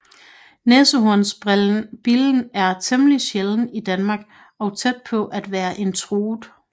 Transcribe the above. Næsehornsbillen er temmelig sjælden i Danmark og tæt på at være en truet